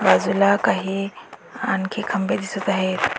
बाजूला काही आणखी खांबे दिसत आहेत.